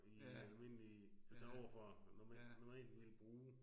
I almindelig altså overfor normalt ville bruge